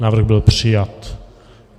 Návrh byl přijat.